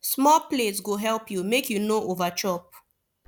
small plate go help you make you no over chop